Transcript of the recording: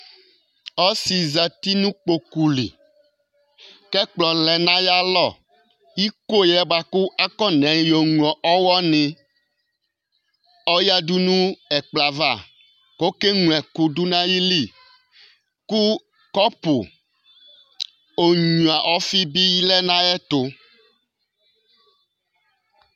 Ɔsɩ zati nʋ kpoku li kʋ ɛkplɔ lɛ nʋ ayalɔ kʋ iko yɛ bʋa kʋ akɔnayɔŋlo ɔɣɔnɩ ɔyǝdu nʋ ɛkplɔ yɛ ava kʋ ɔkeŋloɛkʋ dʋ nʋ ayili Kʋ kɔpʋ onyuǝ ɔfɩ bɩ lɛ nʋ ayɛtʋ